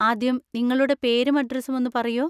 ആദ്യം നിങ്ങളുടെ പേരും അഡ്ഡ്രസ്സും ഒന്ന് പറയോ.